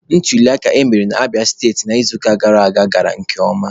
Ntuliaka emere na Abịa steti n'izuụka gara aga gara nke ọma.